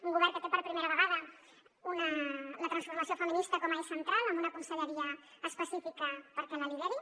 un govern que té per primera vegada la transformació feminista com a eix central amb una conselleria específica perquè la lideri